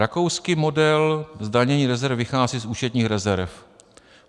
Rakouský model zdanění rezerv vychází z účetních rezerv.